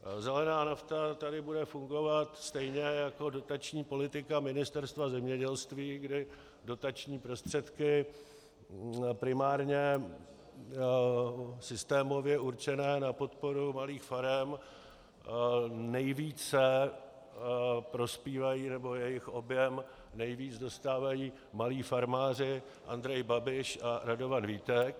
Zelená nafta tady bude fungovat stejně jako dotační politika Ministerstva zemědělství, kdy dotační prostředky primárně systémově určené na podporu malých farem nejvíce prospívají, nebo jejich objem nejvíc dostávají malí farmáři Andrej Babiš a Radovan Vítek.